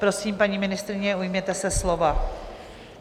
Prosím, paní ministryně, ujměte se slova.